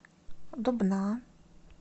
дубна